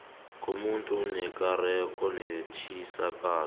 komuntu nekareko netjisakalo